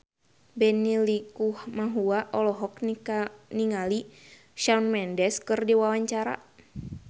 Benny Likumahua olohok ningali Shawn Mendes keur diwawancara